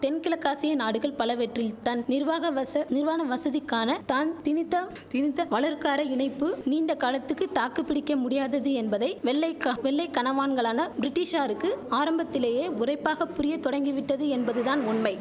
தென்கிழக்காசிய நாடுகள் பலவற்றில் தன் நிர்வாக வச நிர்வாண வசதிக்கான தான் திணித்த திணித்த வலர்காரை இணைப்பு நீண்ட காலத்துக்கு தாக்குபிடிக்க முடியாதது என்பதை வெள்ளை க வெள்ளை கனவான்களான பிரிட்டிஷாருக்கு ஆரம்பத்திலேயே உறைப்பாக புரிய தொடங்கி விட்டது என்பதுதான் உண்மை